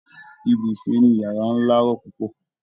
Ibùsùn inu yàrá ńlá rọ púpọ